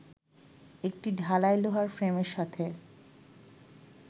একটি ঢালাই লোহার ফ্রেমের সাথে